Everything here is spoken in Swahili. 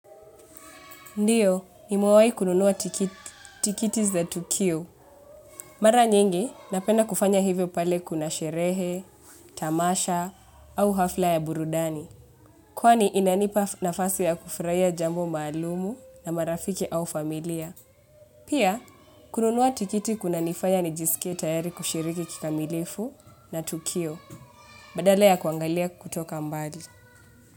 Ndiyo, nimewai kununua tikiti za tukio. Mara nyingi, napenda kufanya hivyo pale kuna sherehe, tamasha, au hafla ya burudani. Kwani inanipa nafasi ya kufraia jambo msalumu na marafiki au familia. Pia, kununua tikiti kunanifanya nijisikie tayari kushiriki kikamilifu na tukio, badala ya kuangalia kutoka mbali.